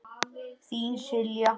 Þín, Silja.